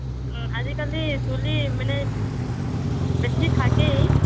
আজিকালি চুলি মানে বেছিভাগেই